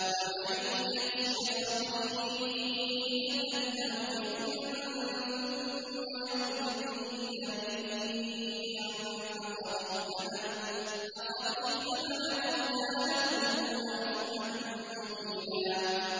وَمَن يَكْسِبْ خَطِيئَةً أَوْ إِثْمًا ثُمَّ يَرْمِ بِهِ بَرِيئًا فَقَدِ احْتَمَلَ بُهْتَانًا وَإِثْمًا مُّبِينًا